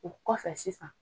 O kɔfɛ sisan